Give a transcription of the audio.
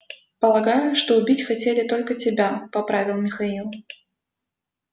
полагаю что убить хотели только тебя поправил михаил